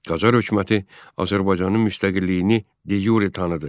Qacar hökuməti Azərbaycanın müstəqilliyini de-yure tanıdı.